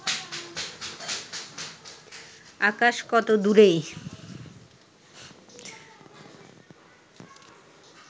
আকাশ কত দূরে